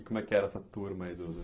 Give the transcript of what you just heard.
E como é que era essa turma aí do